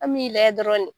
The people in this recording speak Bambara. An m'i layɛ dɔrɔn de